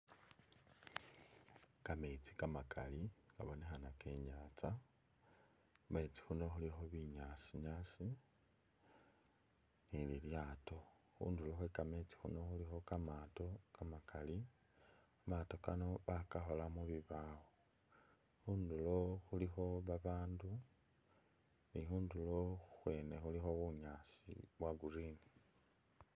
Kameetsi kamakali kabonekhana ke i'nyaanza nyanza, khumetsi khuuno khulikho binyaasi-nyaasi ela te khundulo khwe kameetsi khuno khulikho kamaato kamakali, kamaato Kano bakakhola mu bibaawo, khundulo khulikho babaandu khundulo khwene khulikho bunyaasi bwa green.